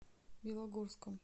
белогорском